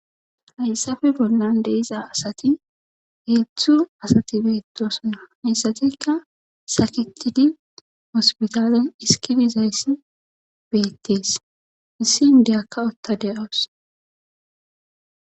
Hayssafe bollan de7iza asati heedzdzu asati beettoosona hayssatikka sakettidi hospitalen dhiskki dizayssi beettes issi inddiyakka utta de7awus.